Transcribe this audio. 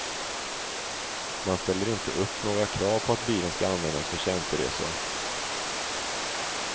Man ställer inte upp några krav på att bilen ska användas för tjänsteresor.